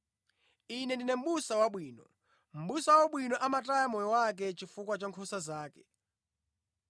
“Ine ndine Mʼbusa wabwino. Mʼbusa wabwino amataya moyo wake chifukwa cha nkhosa zake.